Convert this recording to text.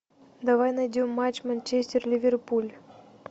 давай найдем матч манчестер ливерпуль